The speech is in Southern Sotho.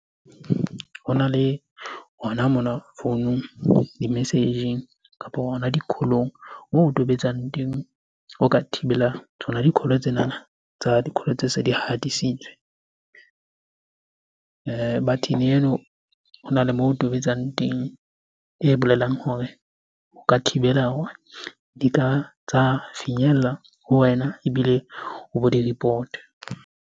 Hona le, hona mona founung, di-message-eng kapo hona di-call-ong. Moo o tobetsang teng, o ka thibela tsona di-call-o tsenana tsa di-call-o tse se di hatisitswe. Button-e eno hona le moo o tobetsang teng, e bolelang hore o ka thibela hore di ka tsa finyella ho wena ebile o bo di report-e.